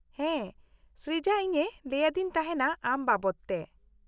-ᱦᱮᱸ ᱥᱨᱤᱡᱟ ᱤᱧᱮ ᱞᱟᱹᱭᱟᱫᱤᱧ ᱛᱟᱦᱮᱸᱱᱟ ᱟᱢ ᱵᱟᱵᱚᱫᱛᱮ ᱾